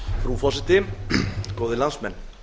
frú forseti góðir landsmenn